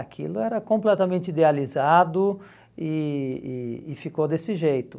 Aquilo era completamente idealizado e e e ficou desse jeito.